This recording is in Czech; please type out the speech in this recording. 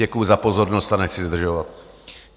Děkuji za pozornost a nechci zdržovat.